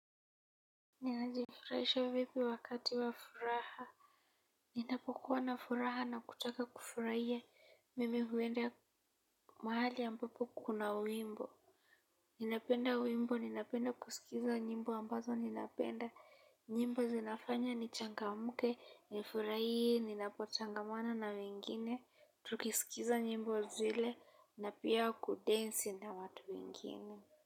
Ninajifuraisha vipi wakati wa furaha. Ninapokuwa na furaha na kutaka kufurahia mimi huenda mahali ambapo kuna wimbo. Ninapenda wimbo. Ninapend akusikiza nyimbo ambazo napenda nyimbo zinafanya nichangamke, nifurahie, ninapotangamana na wengine. Tukisikiza nyimbo zile na pia kudensi na watu wengine.